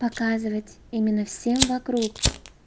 показывать именно всем вокруг